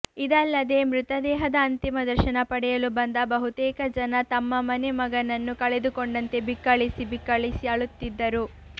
ಇದಲ್ಲದೆ ಮೃತದೇಹದ ಅಂತಿಮ ದರ್ಶನ ಪಡೆಯಲು ಬಂದ ಬಹುತೇಕ ಜನ ತಮ್ಮ ಮನೆ ಮಗನನ್ನು ಕಳೆದುಕೊಂಡಂತೆ ಬಿಕ್ಕಳಿಸಿ ಬಿಕ್ಕಳಿಸಿ ಅಳುತ್ತಿದ್ದರು